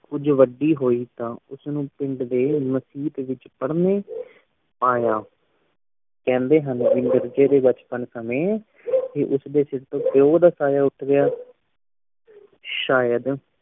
ਕੁਝ ਵੱਡੀ ਹੁਈ ਤਾਂ ਉਸ ਨੂੰ ਮਸੀਤ ਵੇਚ ਪੜਨੇ ਪਾਯਾ ਕਹਿੰਦੇ ਹਨ ਵੀ ਮਿਰਜੇ ਦੇ ਬਚਪਨ ਸਮੇਂ ਉਸ ਦੇ ਸਿਰ ਤੋਂ ਪਿਓ ਦਾ ਸਾਯਾ ਉਠ ਗਇਆ ਸ਼ਾਇਦ